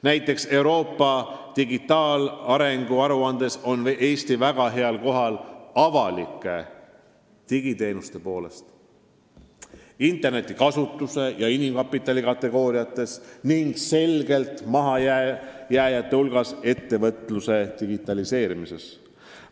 Näiteks Euroopa digitaalarengu aruandes on Eesti väga heal kohal avalike digiteenuste poolest, interneti kasutuse ja inimkapitali kategooriates, ent selgelt mahajääjate hulgas ettevõtluse digitaliseerimises.